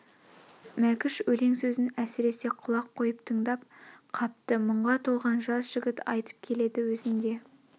мәкш өлең сөзін әсіресе құлақ қойып тыңдап қапты мұңға толған жас жігіт айтып келеді өзін де